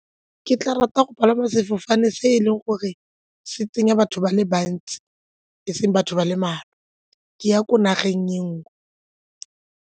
Ke tla rata go palama sefofane se e leng gore se tsenya batho ba le bantsi, e seng batho ba le mmalwa ke ya ko nageng e nngwe.